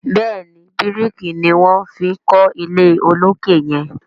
béèni biriki ní wón fí kò ilé olokè yen.